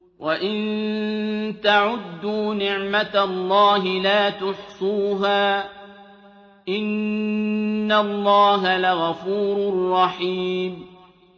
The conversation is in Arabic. وَإِن تَعُدُّوا نِعْمَةَ اللَّهِ لَا تُحْصُوهَا ۗ إِنَّ اللَّهَ لَغَفُورٌ رَّحِيمٌ